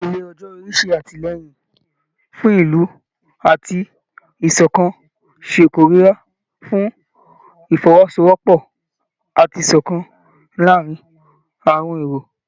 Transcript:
Ìpele ọjọ́ orí ṣe àtìlẹ́yìn fún ìlú àti ìṣọ̀kan, ṣe kóríyá fún Ìfọwọ́sowọ́pọ̀ àti ìṣọ̀kan láàárín àwọn irọ̀